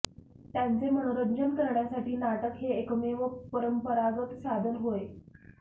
त्यांचे मनोरंजन करण्यासाठी नाटक हे एकमेव परंपरागत साधन होय